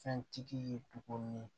Fɛntigi ye tuguni